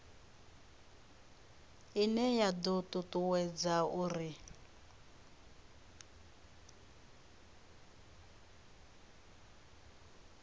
ine ya do tutuwedza uri